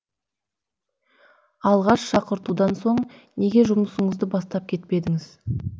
алғаш шақыртудан соң неге жұмысыңызды бастап кетпедіңіз